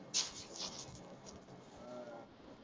अह